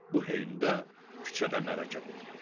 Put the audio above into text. Bu heydə küçədə mələkə qopdu.